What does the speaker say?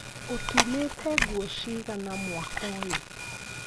Ũtumĩtenguo cigana mwaka ũyũ?